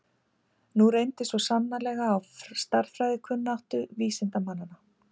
Nú reyndi svo sannarlega á stærðfræðikunnáttu vísindamannanna.